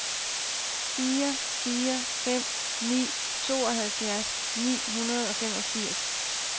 fire fire fem ni tooghalvfjerds ni hundrede og femogfirs